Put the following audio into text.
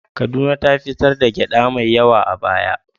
Kaduna ta fitar da gyaɗa mai yawa a baya.